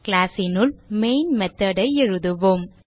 class னுள் main method ஐ எழுதுவோம்